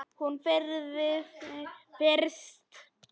Hún yrði fyrst.